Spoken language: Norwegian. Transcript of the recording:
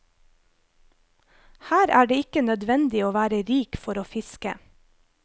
Her er det ikke nødvendig å være rik for å fiske.